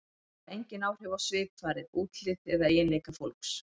Þær hafa engin áhrif á svipfarið, útlit eða eiginleika fólks.